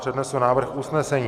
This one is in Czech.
Přednesu návrh usnesení.